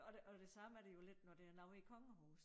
Og det det samme er det jo lidt når det er noget i kongehus